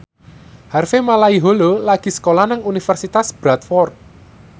Harvey Malaiholo lagi sekolah nang Universitas Bradford